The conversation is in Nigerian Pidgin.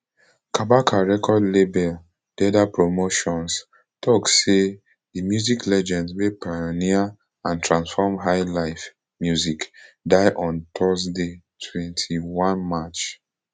kabaka record label derda promotions tok say di music legend wey pioneer and transform highlife music die on thursday twenty-one march